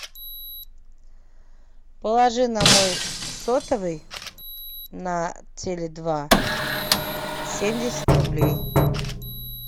положи на мой сотовый на теле два семьдесят рублей